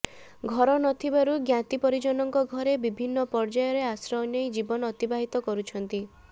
ଘର ନ ଥିବାରୁ ଜ୍ଞାତି ପରିଜନଙ୍କ ଘରେ ବିଭିନ୍ନ ପର୍ୟ୍ୟାୟରେ ଆଶ୍ରୟ ନେଇ ଜୀବନ ଅତିବାହିତ କରୁଛନ୍ତି